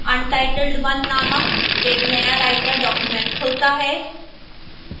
untitled 1 named एक नया writer document खुलता है